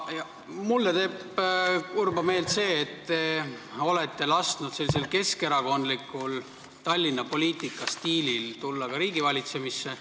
Mulle teeb kurba meelt see, et te olete lasknud keskerakondlikul Tallinna valitsemise stiilil tulla ka riigivalitsemisse.